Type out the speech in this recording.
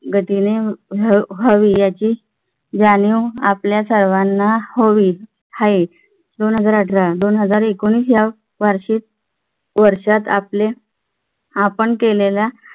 गतीने व्हावी याची जाणीव आपल्या सर्वांना हवी आहे. दोन हजार अठरा दोन हजार एकोणवीस या वार्षिक वर्षात आपले आपण केलेल्या